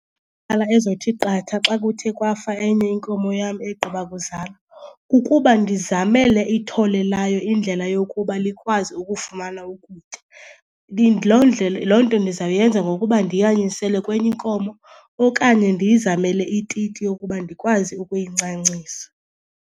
ezothi qatha xa kuthe kwafa enye inkomo yam egqiba kuzala kukuba ndizamele ithole layo indlela yokuba likwazi ukufumana ukutya. Loo ndlela, loo nto ndizawuyenza ngokuba ndiyanyisele kwenye inkomo okanye ndiyizamele ititi yokuba ndikwazi ukuyincancisa.